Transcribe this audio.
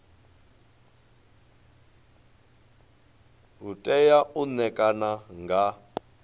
u tea u ṋekana nga